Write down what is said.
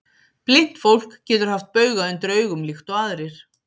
Blint fólk getur haft bauga undir augum líkt og aðrir.